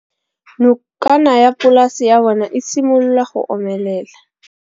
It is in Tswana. Nokana ya polase ya bona, e simolola go omelela.